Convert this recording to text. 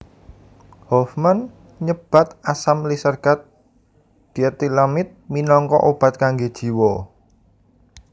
Hofmann nyebat asam lisergat dietilamid minangka obat kanggé jiwa